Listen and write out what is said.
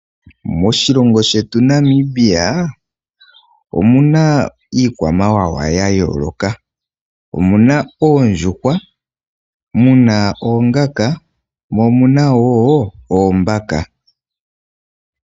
Moshilongo shetu Namibia omu na iikwamawawa yayooloka. Omu na oondjuhwa, mu na oongaka nosho wo oombaka.